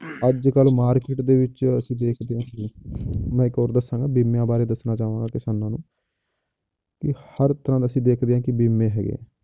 ਅੱਜ ਕੱਲ੍ਹ market ਦੇ ਵਿੱਚ ਅਸੀਂ ਦੇਖਦੇ ਹਾਂ ਕਿ ਮੈਂ ਹੋਰ ਦੱਸਾਂਗਾ ਬੀਮਿਆਂ ਬਾਰੇ ਦੱਸਣਾ ਚਾਹਾਂਗਾ ਕਿਸਾਨਾਂ ਨੂੰ ਕਿ ਹਰ ਤਰ੍ਹਾਂ ਅਸੀਂ ਦੇਖਦੇ ਹਾਂ ਕਿ ਬੀਮੇ ਹੈਗੇ ਆ,